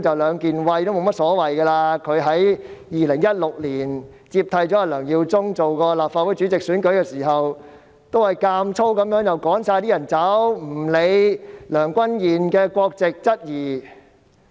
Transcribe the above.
石議員在2016年接替梁耀忠議員主持立法會主席選舉時，也曾強行趕走其他人，並且不理會梁君彥的國籍受質疑。